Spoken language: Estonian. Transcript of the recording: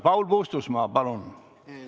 Paul Puustusmaa, palun!